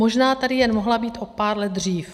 Možná tady jen mohla být o pár let dřív.